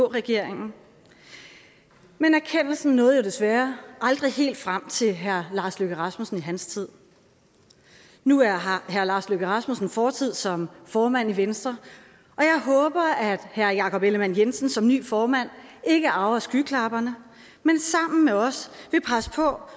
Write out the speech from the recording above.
regeringen men erkendelsen nåede jo desværre aldrig helt frem til herre lars løkke rasmussen i hans tid nu har herre lars løkke rasmussen en fortid som formand i venstre og jeg håber at herre jakob ellemann jensen som ny formand ikke arver skyklapperne men sammen med os vil presse på